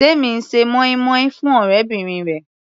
Temi ń ṣe moin-moin fún ọ̀rẹ́bìnrin rẹ̀.